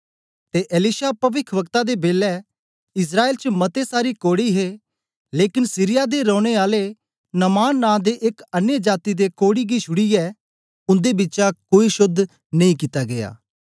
ते एलिशा पविखवक्ता दे बेलै इस्राएल च मते सारे कोढ़ी हे लेकन सीरिया दे रौने आले नामान नां दे एक अन्य जाती दे कोढ़ी गी छुड़ीयै उन्दे बिचा कोई शोद्ध नेई कित्ता गीया